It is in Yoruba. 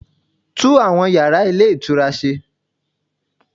Tún àwọn yàrá Ilé Ìtura se